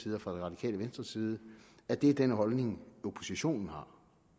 og fra det radikale venstres side at det er den holdning oppositionen har